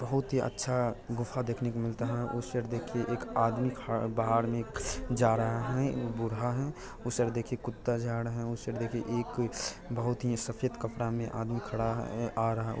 बहुत ही अच्छा गुफा देखने को मिलता है उस साइड देखिए एक आदमी ख- बाहर में जा रहा है। बूढ़ा है उस साइड देखिए कुत्ता जा रहा है उस साइड देखिए एक बहुत ही सफेद कपड़ा में आदमी खड़ा है- आ रहा